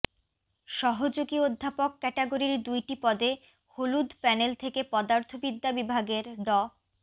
সহযোগী অধ্যাপক ক্যাটাগরির দুইটি পদে হলুদ প্যানেল থেকে পদার্থবিদ্যা বিভাগের ড